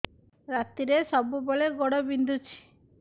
ରାତିରେ ସବୁବେଳେ ଗୋଡ ବିନ୍ଧୁଛି